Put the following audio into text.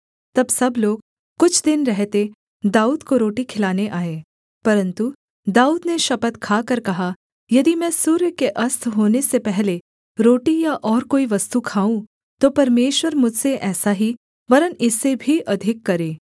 तब सब लोग कुछ दिन रहते दाऊद को रोटी खिलाने आए परन्तु दाऊद ने शपथ खाकर कहा यदि मैं सूर्य के अस्त होने से पहले रोटी या और कोई वस्तु खाऊँ तो परमेश्वर मुझसे ऐसा ही वरन् इससे भी अधिक करे